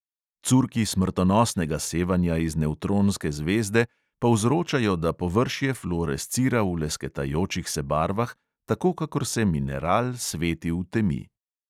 Curki smrtonosnega sevanja iz nevtronske zvezde povzročajo, da površje fluorescira v lesketajočih se barvah, tako kakor se mineral sveti v temi.